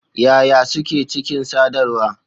Yaya Suke Cikin Sadarwa?